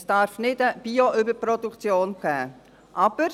Es darf keine Bio-Überproduktion geben.